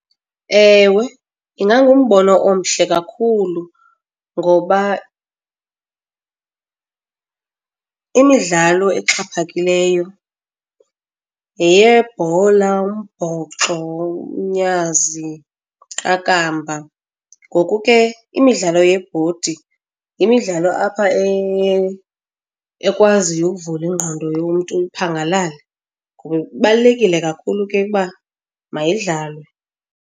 Ewe, ingangumbono omhle kakhulu ngoba imidlalo exhaphakileyo yeyebhola, umbhoxo, umnyazi, iqakamba. Ngoku ke, imidlalo yebhodi yimidlalo apha ekwaziyo ukuvula ingqondo yomntu iphangalale, ngoba ibalulekile kakhulu ke uba mayidlalwe.